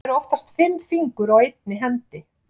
Það eru oftast fimm fingur á einni hendi.